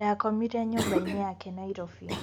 Ndakomire nyũmba-inĩ yake Nairobi.